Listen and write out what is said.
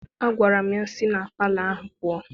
Agwara m ya, si na palọ ahụ pụọ!